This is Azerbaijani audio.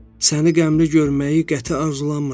Səni qəmli görməyi qəti arzulamırdım.